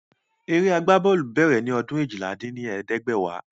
Eré agbá bọ́ọ̀lù bèrè ni ọdún eéjìlá dín ní ẹ̀ẹ́dẹ́gbẹ́wá